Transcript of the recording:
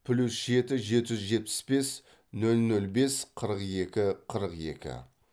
плюс жеті жеті жүз жетпіс бес нөл нөл бес қырық екі қырық екі